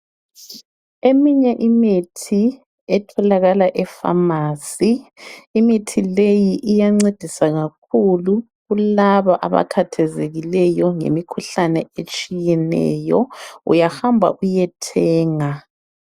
Eminye imithi etholakala efamasi imithi leyi iyancedisa kakhulu kulabo abakhathazekileyo ngemikhuhlane etshiyeneyo uyahamba uyethenga.